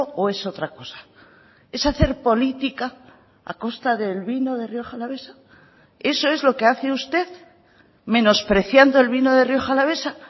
o es otra cosa es hacer política a costa del vino de rioja alavesa eso es lo que hace usted menospreciando el vino de rioja alavesa